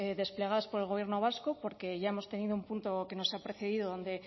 desplegadas por el gobierno vasco porque ya hemos tenido un punto que nos ha precedido donde